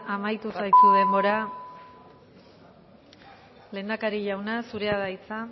amaitu zaizu denbora lehendakari jauna zurea da hitza